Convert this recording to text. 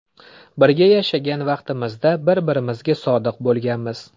Birga yashagan vaqtimizda bir birimizga sodiq bo‘lganmiz.